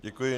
Děkuji.